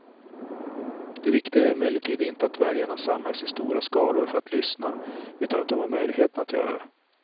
Det viktiga är emellertid inte att väljarna samlas i stora skaror för att lyssna, utan att de har möjligheten att göra det.